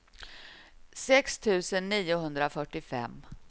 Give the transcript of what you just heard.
sex tusen niohundrafyrtiofem